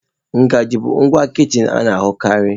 Ngaji bụ ngwa kichin a na-ahụkarị.